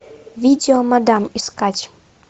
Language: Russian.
видео мадам искать